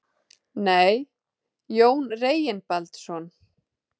Nei, Jón Reginbaldsson.